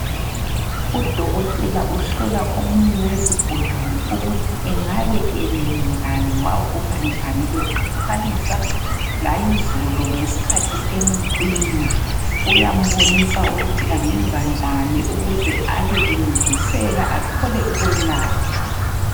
Udokotela uhlola omunye wezigulane ukuthi engabe elele njani wavuka njani eqathanisa layizolo ngesikhathi emcina. Uyambonisa ukuthi angenza njani ukuze abe encediseka athole ukwelatshwa.